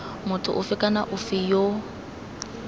motho ofe kana ofe yo